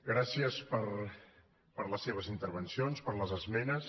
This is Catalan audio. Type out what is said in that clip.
gràcies per les seves intervencions per les esmenes